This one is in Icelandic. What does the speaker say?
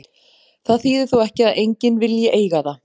Það þýðir þó ekki að enginn vilji eiga það.